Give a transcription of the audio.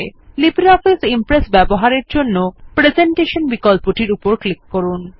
LibreOffice Impress ব্যবহারের জন্য নতুন ডায়লগ বক্স এর প্রেজেন্টেশন বিকল্পটির উপর ক্লিক করুন